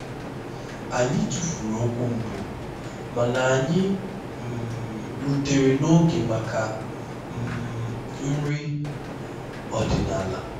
anyị tụfuru okwu mbụ mana anyị um rutere n'oge maka um nri ọdịnala